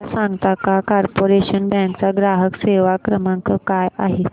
मला सांगता का कॉर्पोरेशन बँक चा ग्राहक सेवा क्रमांक काय आहे